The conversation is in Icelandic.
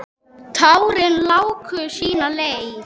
Tárin láku sína leið.